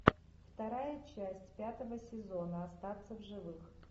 вторая часть пятого сезона остаться в живых